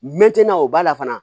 Mɛn tɛna o b'a la fana